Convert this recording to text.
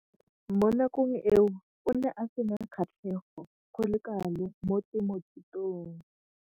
Mo nakong eo o ne a sena kgatlhego go le kalo mo temothuong.